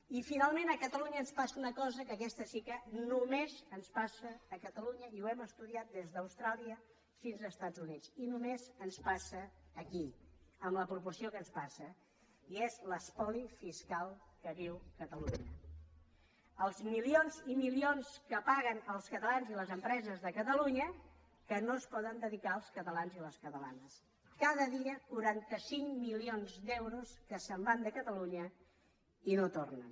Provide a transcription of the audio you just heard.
i finalment a catalunya ens passa una cosa que aquesta sí que només ens passa a catalunya i ho hem estudiat des d’austràlia fins als estats units i només ens passa aquí en la proporció en què ens passa i és l’espoli fiscal que viu catalunya els milions i milions que paguen els catalans i les empreses de catalunya que no es poden dedicar als catalans i les catalanes cada dia quaranta cinc milions d’euros que se’n van de catalunya i no tornen